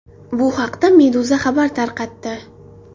Bu haqda Meduza xabar tarqatdi .